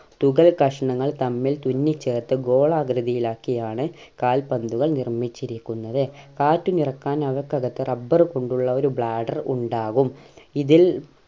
തുകൽ കഷ്ണങ്ങൾ തമ്മിൽ തുന്നിച്ചേർത്ത് ഗോളാകൃതിയിലാക്കിയാണ് കാൽപന്തുകൾ നിർമ്മിച്ചിരിക്കുന്നത് കാറ്റ് നിറക്കാൻ അവക്ക് അകത്ത് rubber കൊണ്ടുള്ള ഒരു bladder ഉണ്ടാകും ഇതിൽ